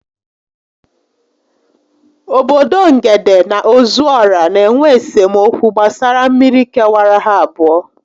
Obodo Ngede na Ozuọra n'enwe esemokwu gbasara mmiri kewara ha abụọ